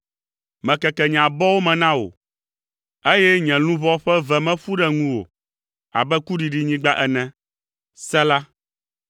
Mekeke nye abɔwo me na wò, eye nye luʋɔ ƒe ve me ƒu ɖe ŋuwò abe kuɖiɖinyigba ene. Sela